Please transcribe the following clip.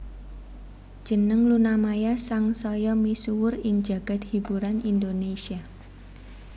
Jeneng Luna Maya sang saya misuwur ing jagad hiburan Indonésia